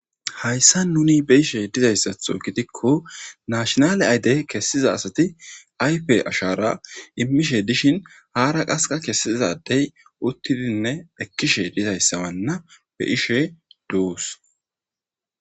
Hayssan nuuni be7ishe dizayssatho gidikko naashinale ayde kessiza asati ayfe ashaara immishe dishin aara qaskka kessiza adde uttinne ekkishe dizayssawana be7ishe doos.